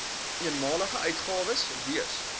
eenmalige uitgawes wees